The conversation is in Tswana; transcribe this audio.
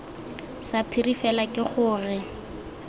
sa phiri fela ke gore